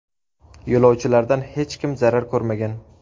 Yo‘lovchilardan hech kim zarar ko‘rmagan.